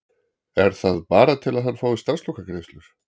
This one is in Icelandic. Er það bara til að hann fái starfslokagreiðslur?